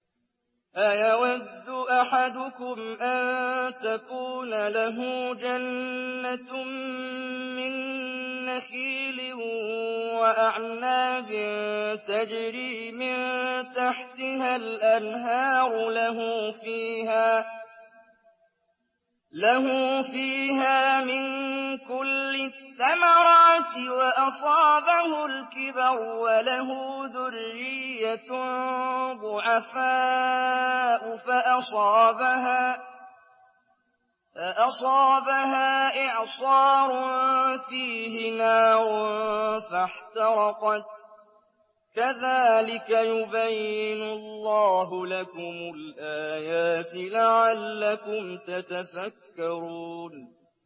أَيَوَدُّ أَحَدُكُمْ أَن تَكُونَ لَهُ جَنَّةٌ مِّن نَّخِيلٍ وَأَعْنَابٍ تَجْرِي مِن تَحْتِهَا الْأَنْهَارُ لَهُ فِيهَا مِن كُلِّ الثَّمَرَاتِ وَأَصَابَهُ الْكِبَرُ وَلَهُ ذُرِّيَّةٌ ضُعَفَاءُ فَأَصَابَهَا إِعْصَارٌ فِيهِ نَارٌ فَاحْتَرَقَتْ ۗ كَذَٰلِكَ يُبَيِّنُ اللَّهُ لَكُمُ الْآيَاتِ لَعَلَّكُمْ تَتَفَكَّرُونَ